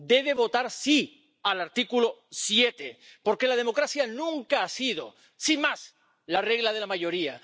Debe votar sí al artículo 7 porque la democracia nunca ha sido, sin más, la regla de la mayoría.